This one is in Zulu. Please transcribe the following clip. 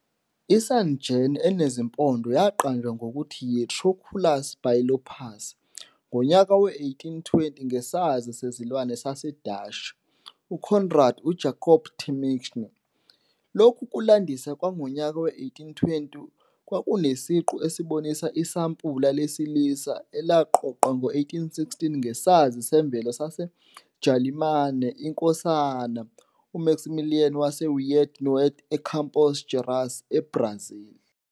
I-sungem enezimpondo yaqanjwa ngokuthi y"I-Trochilus bilophus" ngonyaka we-1820 ngesazi sezilwane saseDashi UCoenraad UJacob Temminck. Lokhu kulandisa kwangonyaka we-1820 kwakunesiqu esibonisa isampula lesilisa elaqoqwa ngo-1816 ngesazi semvelo saseJalimane INkosana uMaximilian waseWied-Neuwied eCampos Gerais, eBrazil.